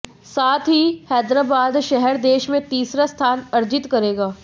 साथ ही हैदराबाद शहर देश में तीसरा स्थान अर्जित करेगा